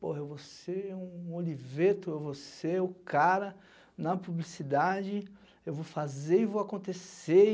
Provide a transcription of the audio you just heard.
Pô, eu vou ser um Oliveto, eu vou ser o cara na publicidade, eu vou fazer e vou acontecer.